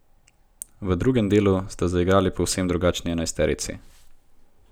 V drugem delu sta zaigrali povsem drugačni enajsterici.